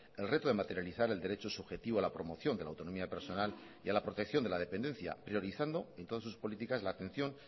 el reto de materializar el derecho subjetivo a la promoción de la autonomía personal y a la protección de la dependencia priorizando en todas sus políticas la atención